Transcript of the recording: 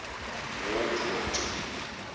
war brought